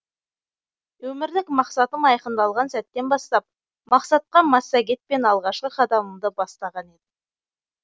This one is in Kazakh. өмірлік мақсатым айқындалған сәттен бастап мақсатқа массагетпен алғашқы қадамымды бастаған едім